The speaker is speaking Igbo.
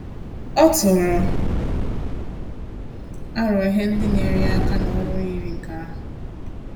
Ọ tụrụ arọ ihe ndị nyere ya aka ná ọrụ yiri nke ahu